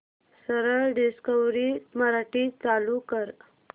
सरळ डिस्कवरी मराठी चालू कर